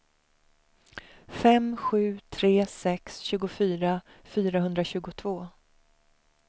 fem sju tre sex tjugofyra fyrahundratjugotvå